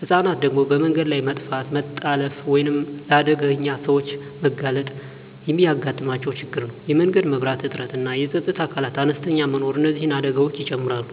ህፃናት ደግሞ በመንገድ ላይ መጥፋት፣ መታለፍ ወይም ለአደገኛ ሰዎች መጋለጥ የሚያጋጥማቸው ችግር ነው። የመንገድ መብራት እጥረትና የፀጥታ አካላት አነስተኛ መኖር እነዚህን አደጋዎች ይጨምራሉ።